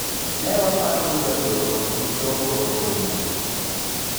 ne waparo ni jagoro ok bii chopo e romo ni